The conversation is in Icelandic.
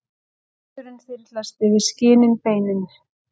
Sandurinn þyrlast yfir skinin beinin.